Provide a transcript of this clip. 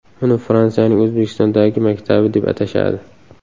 Uni Fransiyaning O‘zbekistondagi maktabi deb atashadi.